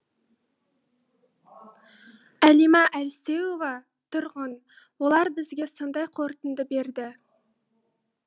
әлима әлсеуова тұрғын олар бізге сондай қорытынды берді